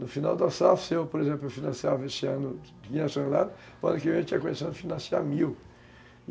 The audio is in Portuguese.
No final da safra, se eu, por exemplo, financiava esse ano quinhentos toneladas, o ano que vem eu tinha começado a financiar mil.